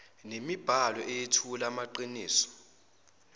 nemibhalo eyethula amaqiniso